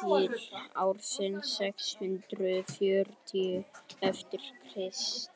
til ársins sex hundruð fjörutíu eftir krist